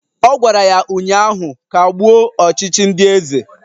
Ọ gwara ha ụnyaahụ "Kagbuo ọchịchị ndị eze"